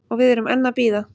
Og við erum enn að bíða